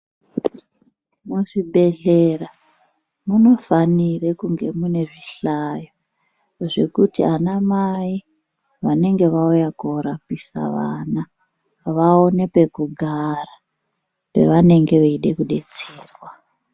Muzvibhehlera , munofanire kunge mune zvihlayo zvekuti anamai vanenge vauya korapisa vana vaone pekugara pavanenge veide kudetserwa.